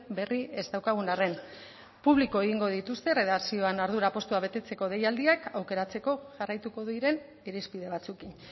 berri ez daukagun arren publiko egingo dituzte erredakzioan ardura postua betetzeko deialdiak aukeratzeko jarraituko diren irizpide batzuekin